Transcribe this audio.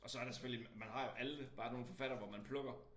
Og så er der selvfølgelig man har jo alle bare nogle forfattere hvor man plukker